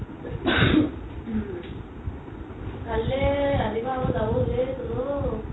কাইলে ৰাতিপুৱা আকৌ যাব হ'ল ঐ চোন ও